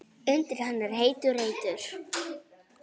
Undir henni er heitur reitur.